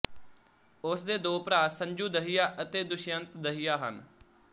ਉਸ ਦੇ ਦੋ ਭਰਾ ਸੰਜੂ ਦਹੀਆ ਅਤੇ ਦੁਸ਼ਯੰਤ ਦਹੀਆ ਹਨ